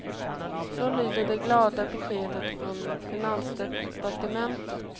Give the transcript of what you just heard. Så lyder det glada beskedet från finansdepartementet.